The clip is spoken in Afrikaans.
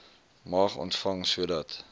mag ontvang sodat